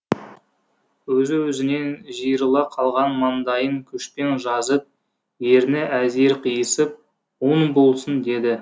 өзі өзінен жиырыла қалған маңдайын күшпен жазып ерні әзер қиысып оң болсын деді